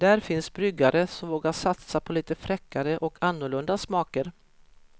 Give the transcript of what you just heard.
Där finns bryggare som vågar satsa på lite fräckare och annorlunda smaker.